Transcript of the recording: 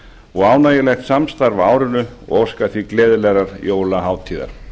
og ánægjulegt samstarf á árinu og óska því gleðilegrar jólahátíðar